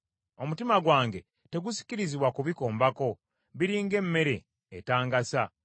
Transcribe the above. Omutima gwange tegusikirizibwa kubikombako, biri ng’emmere etangasa.